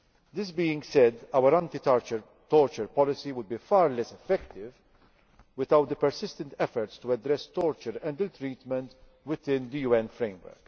This being said, our anti torture policy would be far less effective without the persistent efforts to address torture and ill treatment within the UN framework.